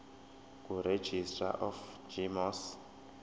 kuregistrar of gmos